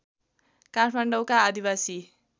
काठमाडौँका आदिवासी